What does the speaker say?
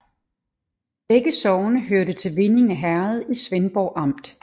Begge sogne hørte til Vindinge Herred i Svendborg Amt